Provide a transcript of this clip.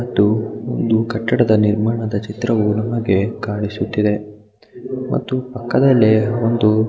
ಮತ್ತು ಒಂದು ಕಟ್ಟಡದ ನಿರ್ಮಾಣದ ಚಿತ್ರವು ನಮಗೆ ಕಾಣಿಸುತ್ತಿದೆ ಮತ್ತು ಪಕ್ಕದಲ್ಲೆ ಒಂದು--